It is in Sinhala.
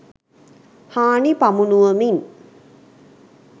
හානි පමුණුවමින්